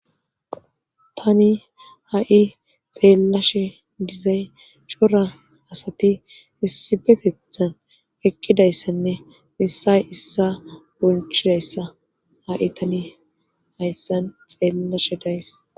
tani ha7i xeellashe dizay cora asati issipetethan eqqidayssenne missay issa bolchidayssa ha7i tani hayssan xeellashe days